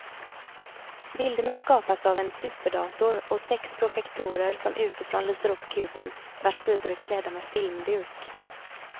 Bilderna skapas av en superdator och sex projektorer som utifrån lyser upp kuben vars sidor är klädda med filmduk.